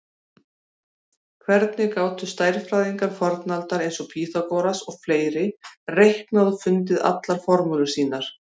Hvernig gátu stærðfræðingar fornaldar eins og Pýþagóras og fleiri reiknað og fundið allar formúlurnar sínar?